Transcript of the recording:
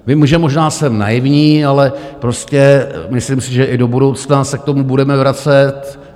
Vím, že možná jsem naivní, ale prostě myslím si, že i do budoucna se k tomu budeme vracet.